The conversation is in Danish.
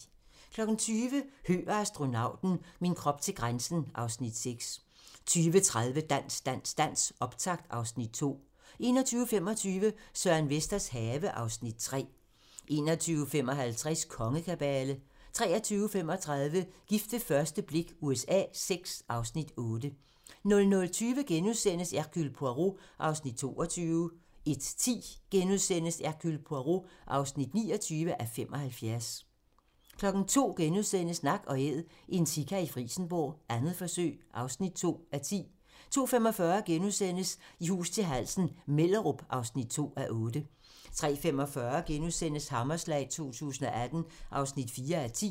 20:00: Høgh og astronauten - min krop til grænsen (Afs. 6) 20:30: Dans, dans, dans - optakt (Afs. 2) 21:25: Søren Vesters have (Afs. 3) 21:55: Kongekabale 23:35: Gift ved første blik USA VI (Afs. 8) 00:20: Hercule Poirot (28:75)* 01:10: Hercule Poirot (29:75)* 02:00: Nak & Æd - en sika i Frijsenborg, 2. forsøg (2:10)* 02:45: I hus til halsen - Mellerup (2:8)* 03:45: Hammerslag 2018 (4:10)*